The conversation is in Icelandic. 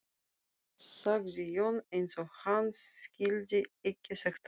sagði Jón, eins og hann skildi ekki þetta orð.